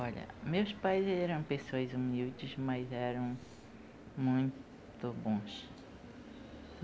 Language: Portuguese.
Olha, meus pais eram pessoas humildes, mas eram muito bons.